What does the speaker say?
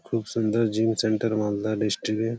খুব সুন্দর gym centre Malda district -এ।